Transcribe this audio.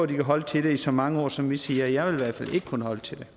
de kan holde til det i så mange år som vi siger jeg ville i hvert fald ikke kunne holde til det